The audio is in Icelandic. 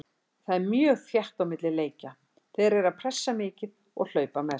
Það er mjög þétt á milli leikja, þeir eru pressa mikið og hlaupa mest.